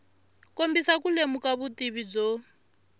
kombisa ku lemuka vutivi byo